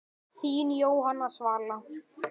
Þín Jóhanna Svala.